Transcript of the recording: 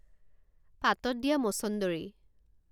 পাতত দিয়া মছন্দৰী